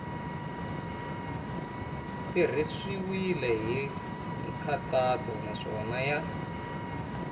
tirhisiwile hi nkhaqato naswona ya